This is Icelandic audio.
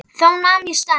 Þá nam ég staðar.